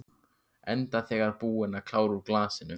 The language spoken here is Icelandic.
Enda þegar búin að klára úr glasinu.